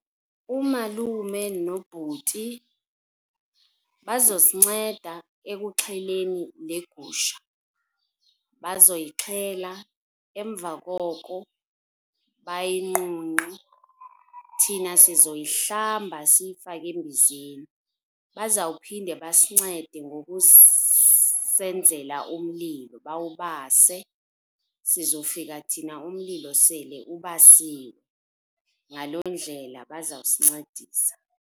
Umalume nobhuti bazosinceda ekuxheleni le gusha. Bazoyixhela, emva koko bayinqunqe. Thina sizoyihlamba siyifake embizeni. Bazawuphinde basincede ngokusenzela umlilo, bawubase. Sizofika thina umlilo sele ubasiwe. Ngaloo ndlela bazawusincedisa.